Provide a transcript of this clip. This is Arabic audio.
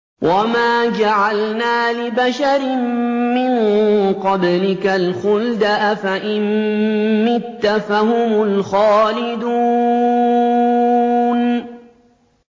وَمَا جَعَلْنَا لِبَشَرٍ مِّن قَبْلِكَ الْخُلْدَ ۖ أَفَإِن مِّتَّ فَهُمُ الْخَالِدُونَ